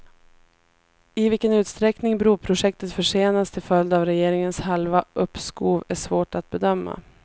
I vilken utsträckning broprojektet försenas till följd av regeringens halva uppskov är svårt att bedöma.